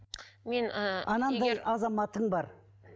мен ы анандай азаматың бар